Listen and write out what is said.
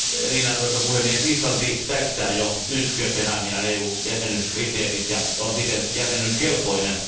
Arvoisa puhemies, Islanti täyttää jo nyt Kööpenhaminan EU jäsenyyskriteerit ja on siten jäsenyyskelpoinen.